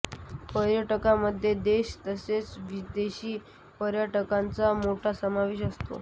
पर्यटकांमध्ये देशी तसेच विदेशी पर्यटकांचा मोठा समावेश असतो